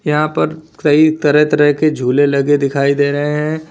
यहां पर कई तरह तरह के झूले लगे दिखाई दे रहे हैं।